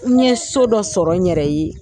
N ye so dɔ sɔrɔ n yɛrɛ ye.